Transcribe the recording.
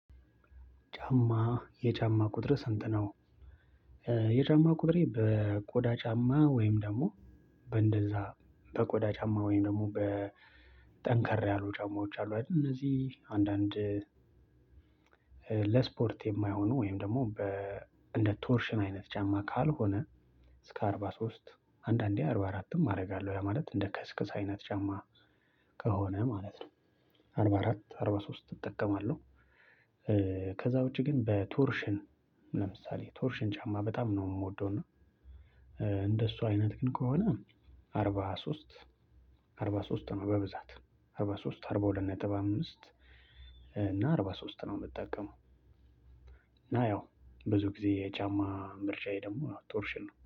ጫማ የጫማ ቁጥር ስንት ነው? የጫማ ቁጥሬ በቆዳ ጫማ ወይም ደግሞ በእንደዛ በቆዳ ጫማ ወይም ደግሞ በጠንከር ያሉ ጫማዎች አሉ አይደል? እነዚህ አንዳንድ። ለስፖርት የማይሆኑ ወይም ደግሞ በእንደ ቶርሽን አይነት ጫማ ካልሆነ እስከ አርባ ሶስት አንዳንዴ አርባ አራትም አደርጋለሁ ያ ማለት እንደ ከስክስ አይነት ጫማ ከሆነ ማለት ነው። አርባ አራት አርባ ሶስት እጠቀማለሁ። ከዛ ውጪ ግን በቶርሽን ለምሳሌ ቶርሽን ጫማ በጣም ነው የምወደው እና። እንደሱ አይነት ግን ከሆነ አርባ ሶስት አርባ ሶስት ነው በብዛት አርባ ሶስት አርባ ሁለት ነጥብ አምስት እና አርባ ሶስት ነው የምትጠቀመው። እና ያው ብዙ ጊዜ የቻማ ምርጫዬ ደግሞ ቶርሽን ነው